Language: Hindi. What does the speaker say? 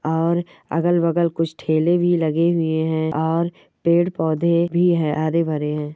और अगल-बगल कुछ ठेले भी लगे हुए हैं और पेड़ पौधे भी है हरे भरे हैं।